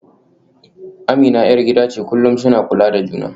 Amina ‘yar gida ce, kullum suna kula da juna.